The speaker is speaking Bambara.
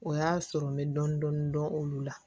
O y'a sɔrɔ n bɛ dɔɔnin dɔɔnin dɔn olu la